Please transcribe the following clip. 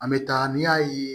An bɛ taa n'i y'a ye